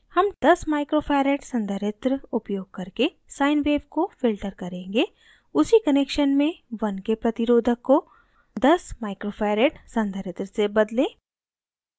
हम 10uf micro farad संधारित्र capacitor उपयोग करके sine wave को filter करेंगे उसी connection में 1k प्रतिरोधक को 10uf संधारित्र से बदलें